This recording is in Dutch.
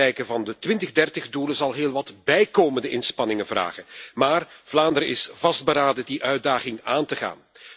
Het bereiken van de 2030 doelen zal heel wat bijkomende inspanningen vragen. Maar Vlaanderen is vastberaden die uitdaging aan te gaan.